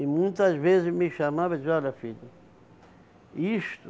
E muitas vezes me chamava e dizia, olha filho, isto